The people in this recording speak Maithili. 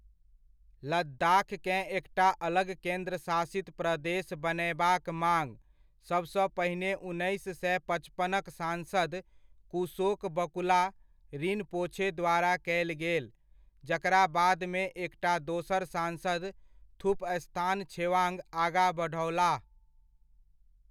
लद्दाखकेँ एकटा अलग केन्द्रशासित प्रदेश बनयबाक माङ, सबसँ पहिने उन्नैस सए पचपनक सांसद, कुशोक बकुला रिनपोछे द्वारा कयल गेल, जकरा बादमे एकटा दोसर सांसद थुपस्तान छेवांग आगा बढओलाह।